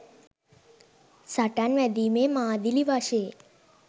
සටන් වැදීමේ මාදිලි වශයෙන්